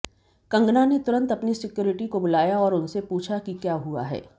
कंगना ने तुरंत अपनी सिक्योरिटी को बुलाया और उनसे पूछा कि क्या हुआ है